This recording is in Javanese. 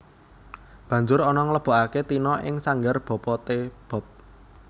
Banjur Ana nglebokaké Tina ing sanggar Papa T Bob